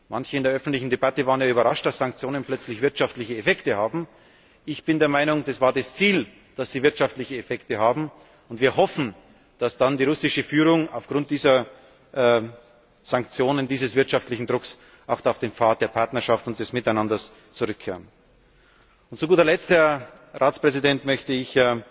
Manche in der öffentlichen Debatte waren ja überrascht, dass Sanktionen plötzlich wirtschaftliche Effekte haben. Ich bin der Meinung, es war das Ziel, dass sie wirtschaftliche Effekte haben. Wir hoffen, dass dann die russische Führung aufgrund dieser Sanktionen, dieses wirtschaftlichen Drucks auf den Pfad der Partnerschaft und des Miteinanders zurückkehrt. Zu guter Letzt, Herr Ratspräsident, möchte